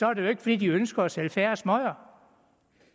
er det jo ikke fordi de ønsker at sælge færre smøger